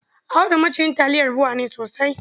Audu maciyin taliyar BUA ne sosai.